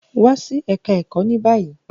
Wa si Oluko ni bayi!